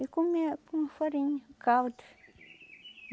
E comia com farinha, caldo.